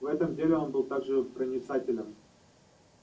в этом деле он был так же проницателен